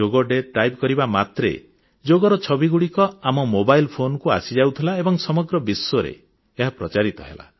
ଯୋଗ day type କରିବା ମାତ୍ରେ ଯୋଗର ଛବିଗୁଡ଼ିକ ଆମ ମୋବାଇଲ ଫୋନକୁ ଆସିଯାଉଥିଲା ଏବଂ ସମଗ୍ର ବିଶ୍ୱରେ ଏହା ପ୍ରଚାରିତ ହେଲା